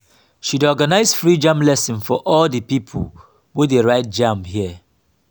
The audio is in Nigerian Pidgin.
she dey organize free jamb lesson for all di pipo wey dey write jamb here.